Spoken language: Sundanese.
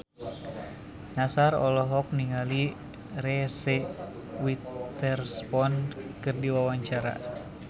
Nassar olohok ningali Reese Witherspoon keur diwawancara